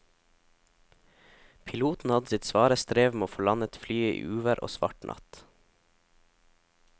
Piloten hadde sitt svare strev med å få landet flyet i uvær og svart natt.